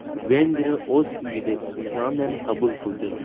Vengriya o‘z uyida Islandiyani qabul qildi.